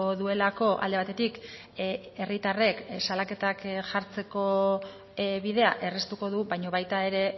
duelako alde batetik herritarrek salaketak jartzeko bidea erraztuko du baina baita ere